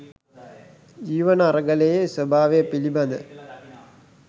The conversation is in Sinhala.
ජීවන අරගලයේ ස්වභාවය පිළිබඳ